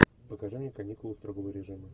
покажи мне каникулы строгого режима